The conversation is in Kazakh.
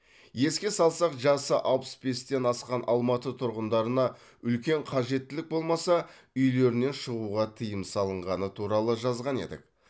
еске салсақ жасы алпыс бестен асқан алматы тұрғындарына үлкен қажеттілік болмаса үйлерінен шығуға тыйым салынғаны туралы жазған едік